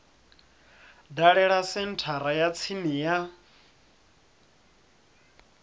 dalele senthara ya tsini ya